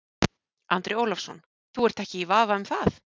Andri Ólafsson: Þú ert ekki í vafa um það?